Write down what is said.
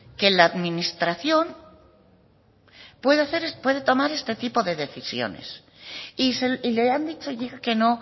que la administración puede tomar este tipo de decisiones y le han dicho ya que no